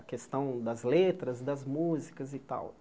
A questão das letras, das músicas e tal.